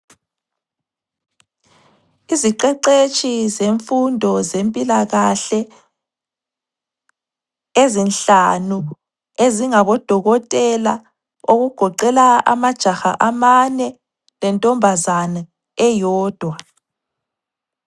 Iziqeqetshi zemfundo zempilakahle ezinhlanu ezingabodokotela okugoqela amajaha amane lentombazana eyodwa.